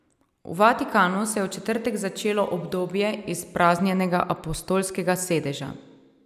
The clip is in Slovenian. V Vatikanu se je v četrtek začelo obdobje izpraznjenega apostolskega sedeža.